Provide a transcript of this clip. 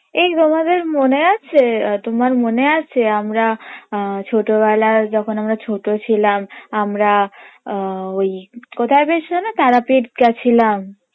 এই তোমাদের মনে আছে আহ তোমার মনে আছে আমরা ছোটবেলায় যখন আমরা ছোট ছিলাম আমরা আহ ওই কোথায় বেশ যেন তারাপীঠ গেছিলাম